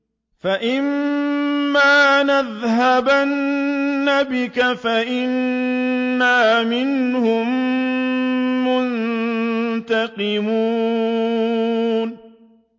فَإِمَّا نَذْهَبَنَّ بِكَ فَإِنَّا مِنْهُم مُّنتَقِمُونَ